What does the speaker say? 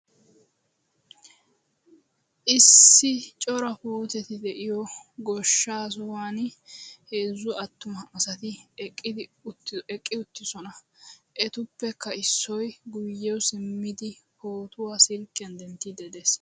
Issi cora puuteti de'iyo goshshaa sohuwan heezzu attuma asati eqqi uttidosona etuppekka Issoyi guyye simmidi pootuwa silkkiyan denttiiddi de'es.